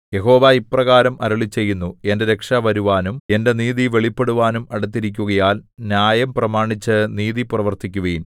യഹോവ ഇപ്രകാരം അരുളിച്ചെയ്യുന്നു എന്റെ രക്ഷ വരുവാനും എന്റെ നീതി വെളിപ്പെടുവാനും അടുത്തിരിക്കുകയാൽ ന്യായം പ്രമാണിച്ചു നീതി പ്രവർത്തിക്കുവിൻ